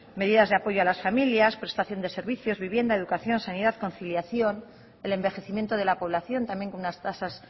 medidas de apoyo a las familias prestación de servicios vivienda educación sanidad conciliación el envejecimiento de la población también con unas tasas